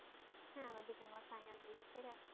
হ্যাঁ আমার ডিপ্লোমার ফাইনাল হয়ে গেছে গা